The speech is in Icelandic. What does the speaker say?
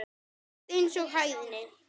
Rétt eins og hæðni.